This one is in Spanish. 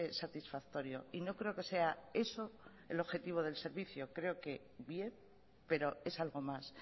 satisfactorio y no creo que sea eso el objetivo del servicio creo que bien pero es algo más